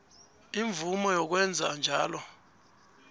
imvumo yokwenza njalo